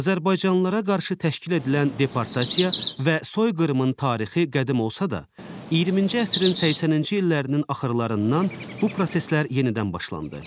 Azərbaycanlılara qarşı təşkil edilən deportasiya və soyqırımın tarixi qədim olsa da, 20-ci əsrin 80-ci illərinin axırlarından bu proseslər yenidən başlandı.